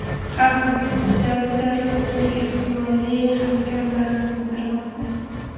Xavfsizlik kuchlari terrorchining ehtimoliy hamkorlarini qidirmoqda.